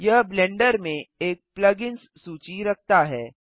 यह ब्लेंडर में एक प्लग इन्स सूची रखता है